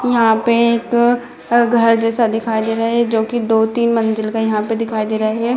यहां पे एक घर जैसा दिखाई दे रहे हैं जो कि दो-तीन मंजिल के यहां पे दिखाई दे रहे हैं।